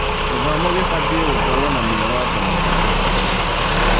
Gĩthomo gĩbatie gũkorwo na mĩoroto mĩega.